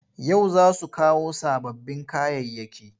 Yau za su kawo sababbin kayayyaki.